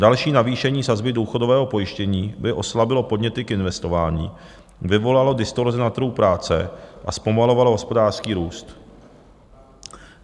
Další navýšení sazby důchodového pojištění by oslabilo podněty k investování, vyvolalo distorzi na trhu práce a zpomalovalo hospodářský růst.